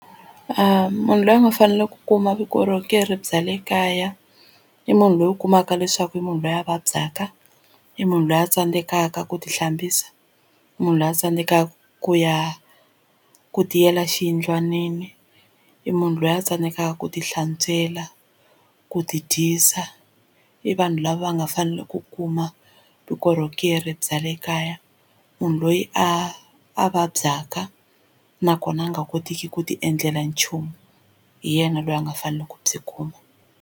Munhu loyi a nga fanele ku kuma vukorhokeri bya le kaya i munhu loyi u kumaka leswaku i munhu loyi a vabyaka i munhu loyi a tsandzekaka ku ti hlambisa munhu luya a tsandzekaka ku ya ku tiyela xiyindlwanini i munhu loyi a tsandzekaka ku tihlantswela ku tidyisa i vanhu lava nga fanele ku kuma vukorhokeri ku ri bya le kaya munhu loyi a a vabyaka nakona a nga kotiki ku tiendlela nchumu hi yena loyi a nga faneleke ku byi kuma.